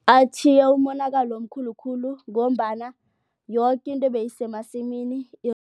Atjhiye umonakalo omkhulu khulu ngombana yoke into beyisemasimini